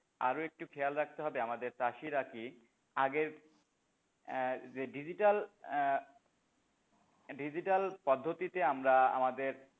আরো একটি খেয়াল রাখতে হবে আমাদের চাষিরা কি আগের এহ যে ডিজিটাল আহ ডিজিটাল পদ্ধতিতে আমরা আমাদের,